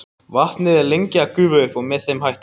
Vatnið er lengi að gufa upp með þeim hætti.